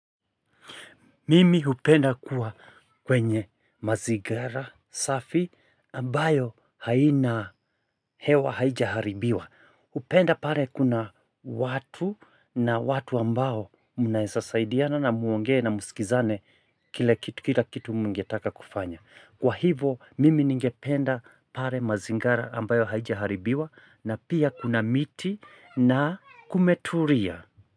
Mimi hupenda kuwa kwenye mazingira safi ambayo haina hewa haijaharibiwa. Hupenda pale kuna watu na watu ambao mnaeza saidiana na muongee na musikizane kila kitu mngetaka kufanya. Kwa hivo mimi ningependa pale mazingara ambayo haijaharibiwa na pia kuna miti na kumetulia.